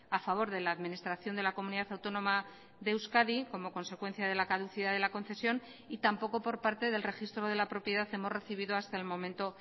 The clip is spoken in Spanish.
a favor de la administración de la comunidad autónoma de euskadi como consecuencia de la caducidad de la concesión y tampoco por parte del registro de la propiedad hemos recibido hasta el momento